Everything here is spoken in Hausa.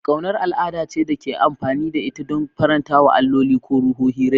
Ƙaunar al'ada ce da ake amfani da ita don faranta wa alloli ko ruhohi rai.